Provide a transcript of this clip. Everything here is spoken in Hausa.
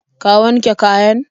Ka wanke kayan?